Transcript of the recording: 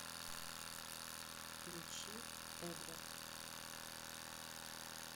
включи эдвард